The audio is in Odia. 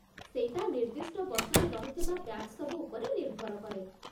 ସେଇଟା ନିର୍ଦ୍ଦିଷ୍ଟ ବର୍ଷରେ ରହିଥିବା ବ୍ୟାଚ୍ ସବୁ ଉପରେ ନିର୍ଭର କରେ ।